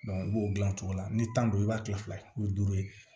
i b'o dilan cogo la ni tanto i b'a kila fila ye o ye duuru ye